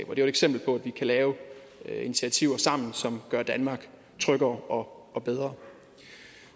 jo et eksempel på at vi kan lave initiativer sammen som gør danmark tryggere og bedre